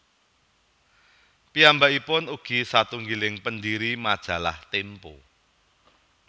Piyambakipun ugi satunggiling pendiri Majalah Tempo